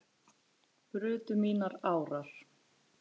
brutu mínar árar